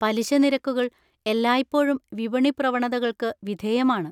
പലിശ നിരക്കുകൾ എല്ലായ്പ്പോഴും വിപണി പ്രവണതകൾക്ക് വിധേയമാണ്.